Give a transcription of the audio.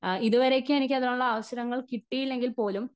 speaker 1 അ ഇതുവരേക്കും എനിക്ക് അതിനുള്ള അവസരങ്ങൾ കിട്ടിയില്ലെങ്കിൽ പോലും